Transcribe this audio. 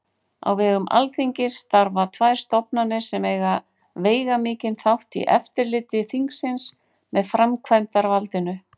Á vegum Alþingis starfa tvær stofnanir sem eiga veigamikinn þátt í eftirliti þingsins með framkvæmdarvaldinu.